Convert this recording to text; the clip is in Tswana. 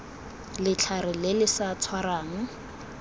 letlhare le le sa tshwarang